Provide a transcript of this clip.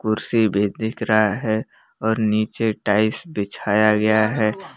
कुर्सी भी दिख रहा है और नीचे टाइल्स बिछाया गया है।